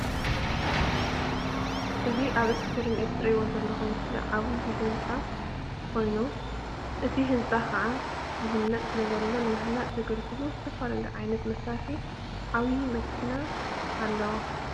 እዚ ኣብ እስክሪን እትሪእዎ ዘለኩም ምስሊ ዓብዪ ህንፃ ኮይኑ እዚ ህንፃ ከዓ ይህነፅ ስለ ዘሎ ንምህናፅ ዘገልግሉ ዝተፈላለዩ ዓይነት መሳርሕታትን ዓባይ መኪናን ኣለዉ።